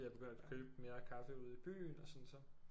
Jeg begynder at købe mere kaffe ude i byen og så